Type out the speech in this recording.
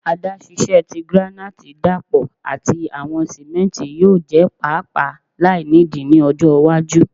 Adaṣiṣẹ ti granite dapọ ati awọn simenti yoo jẹ paapaa lainidi ni ọjọ iwaju